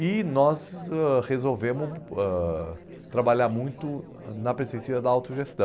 E nós ãh resolvemos ãh trabalhar muito ãh na perspectiva da autogestão.